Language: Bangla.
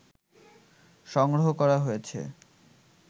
সংগ্রহ করা হয়েছে